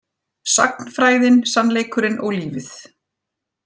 Sagnfræðin, sannleikurinn og lífið